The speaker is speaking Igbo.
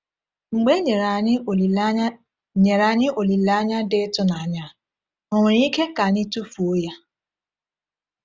Mgbe e nyere anyị olileanya nyere anyị olileanya dị ịtụnanya a, ò nwere ike ka anyị tufuo ya?